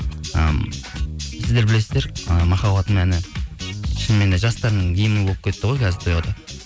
ы сіздер білесіздер ы махаббатым әні шыныменде жастардың гимні болып кетті ғой қазір тойларда